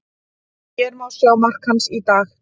Hér má sjá mark hans í dag.